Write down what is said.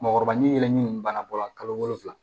Mɔkɔrɔba ɲeele nin bana bɔla kalo wolonwula